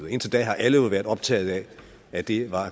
indtil da har alle jo været optaget af at det er